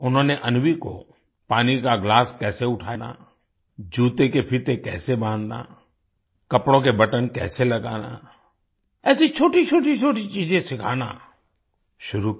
उन्होंने अन्वी को पानी का गिलास कैसे उठाना जूते के फीते कैसे बांधना कपड़ों के बटन कैसे लगाना ऐसी छोटी छोटी छोटी चीज़े सिखाना शुरू किया